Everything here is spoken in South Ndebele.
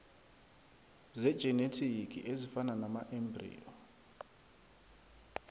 zejinethiki ezifana namaembriyo